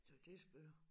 Så det er skør